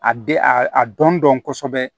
A den a dɔn dɔn kosɛbɛ